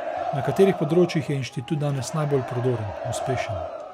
Na katerih področjih je inštitut danes najbolj prodoren, uspešen?